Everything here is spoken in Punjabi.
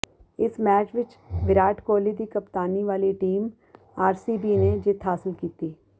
ਇਸ ਮੈਚ ਵਿਚ ਵਿਰਾਟ ਕੋਹਲੀ ਦੀ ਕਪਤਾਨੀ ਵਾਲੀ ਟੀਮ ਆਰਸੀਬੀ ਨੇ ਜਿੱਤ ਹਾਸਲ ਕੀਤੀ